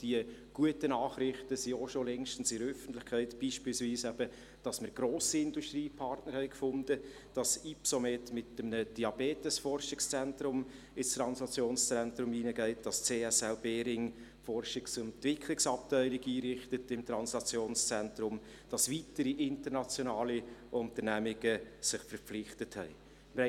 Diese guten Nachrichten sind auch längst in der Öffentlichkeit angekommen, so beispielsweise, dass wir grosse Industriepartner gefunden haben, dass Ypsomed mit einem Diabetesforschungszentrum in das Translationszentrum einzieht, dass die CSL Behring ihre Forschungs- und Entwicklungsabteilung im Translationszentrum einrichtet und dass sich weitere internationale Unternehmungen verpflichtet haben.